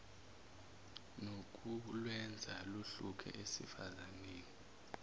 nokulwenza luhluke esifazaneni